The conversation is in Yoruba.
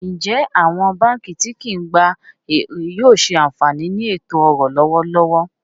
Ǹjẹ́ awọn bankí ti kìí gbà èrè yóò ṣé ànfaní ní ètò-ọ̀rọ̀ lọwọ̀lọwọ̀?